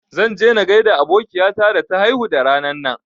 Zan je na gaida abokiya ta da ta haihu da ranan nan